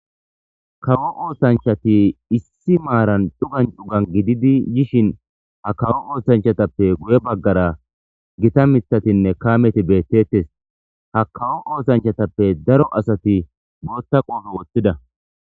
kawo oosanchati issi maaran cugan cugan gididi yishin ha kawo oosanchatappe guye baggara gita mithatinne kaameti beettettes ha kawo oosanchatappe daro asati bootta qoofo woththida